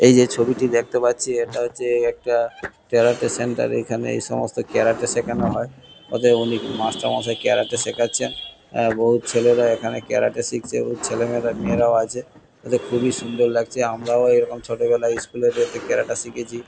এই যে ছবিটি দেখতে পাচ্ছি এটা হচ্ছে এই একটা ক্যারাটে সেন্টার । এখানে এইসমস্ত ক্যারাটে সেখান হয়। অতএব অনেক মাস্টারমশাই ক্যারাটে শেখাচ্ছেন। হ্যাঁ বহুত ছেলেরা এখানে ক্যারাটে শিখছে এবং ছেলেমেয়েরা মেয়েরাও আছে। অতএব খুবই সুন্দর লাগছে। আমরাও এরকম ছোটবেলায় স্কুল -এ যেতে ক্যারাটে শিখেছি।